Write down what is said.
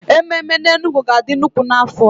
Ememe n'Enugwu ga-adị nnukwu n'afọ a.